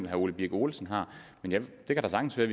herre ole birk olesen har det kan da sagtens være